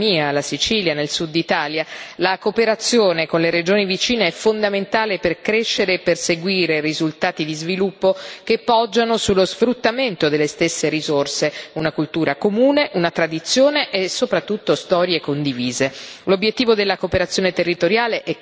Per le regioni di confine, come per esempio la mia, la Sicilia nel Sud Italia, la cooperazione con le regioni vicine è fondamentale per crescere e perseguire risultati di sviluppo che poggiano sullo sfruttamento delle stesse risorse una cultura comune, una tradizione e soprattutto storie condivise.